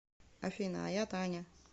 афина а я таня